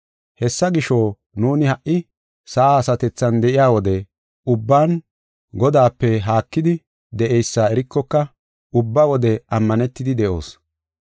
Hessa gisho, nuuni ha sa7a asatethan de7iya wode ubban Godaape haakidi de7eysa erikoka ubba wode ammanetidi de7oos.